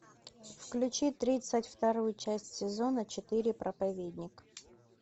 включи тридцать вторую часть сезона четыре проповедник